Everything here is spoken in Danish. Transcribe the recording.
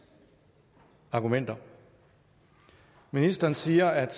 argumenter ministeren siger at